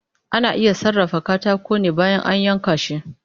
Ana iya sarrafa katako ne bayan an yanka shi